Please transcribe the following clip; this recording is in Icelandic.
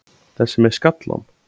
Þessi með skallann?